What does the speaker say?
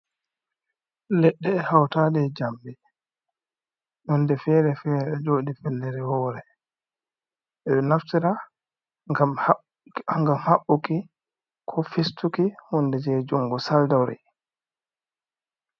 Leɗɗe e hautade jamɗi, hunde fere fere o jodi fellere wore, ɓe ɗo naftira gam haɓɓuki ko fistuki hunde je jungo saldori.